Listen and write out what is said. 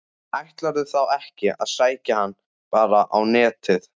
Ætlarðu þá ekki að sækja hana bara á Netið?